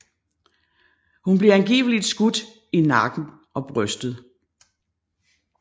Hun blev angiveligt skudt i nakken og brystet